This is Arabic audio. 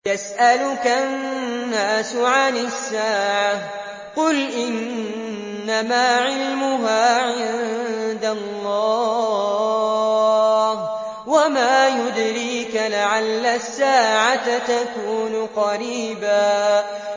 يَسْأَلُكَ النَّاسُ عَنِ السَّاعَةِ ۖ قُلْ إِنَّمَا عِلْمُهَا عِندَ اللَّهِ ۚ وَمَا يُدْرِيكَ لَعَلَّ السَّاعَةَ تَكُونُ قَرِيبًا